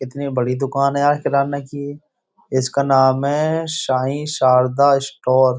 कितनी बड़ी दुकान है यार किराना की इसका नाम है साईं शारदा स्टोर ।